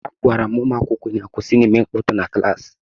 Agwara m ụmụ akwụkwọ ụnyahụ, kwụsịnụ ịme mkpọtụ na klaasị a!